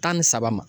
Tan ni saba ma